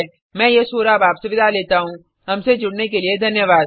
मैं यश वोरा आपसे विदा लेता हूँहमसे जुड़ने के लिए धन्यवाद